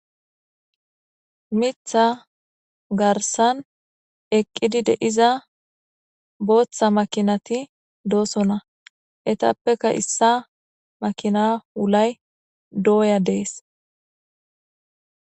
Mitha garsan eqidi de'iza bootha makinati de'osona eetapeka issa makina wulay doya dees